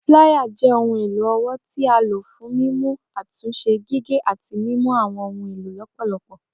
Plier jẹ ohun elo ọwọ ti a lo fun mimu, atunse, gige ati mimu awọn ohun elo lọpọlọpọ